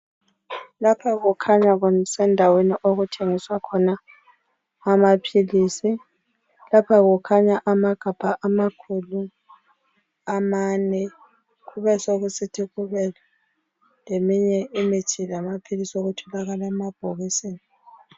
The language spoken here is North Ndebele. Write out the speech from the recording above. Lapha kukhanya kusendaweni okuthengiswa khona amaphilisi. Lapha kukhanya amagabha amane kubesokusithi leminye imithi lamanye amaphilisi